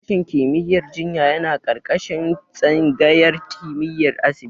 Sashen kimiyyar jinya yana ƙarƙashin tsangayar kimiyyar asibiti.